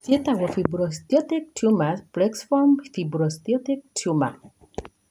Ciĩtagwo fibrohistiocytic tumors Plexiform fibrohistiocytic tumor